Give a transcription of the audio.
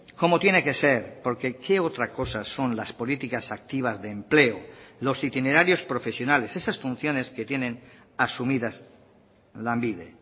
como tiene que ser porque qué otra cosa son las políticas activas de empleo los itinerarios profesionales esas funciones que tienen asumidas lanbide